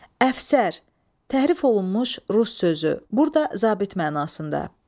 Əfsər, təhrif olunmuş rus sözü, burda zabit mənasında.